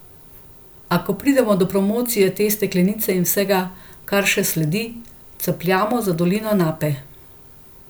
A ko pridemo do promocije te steklenice in vsega, kar še sledi, capljamo za dolino Nape.